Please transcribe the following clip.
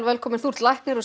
þú ert læknir og